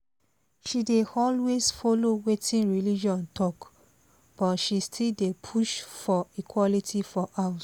she dey always follow wetin religion talk but she still dey push for equality for house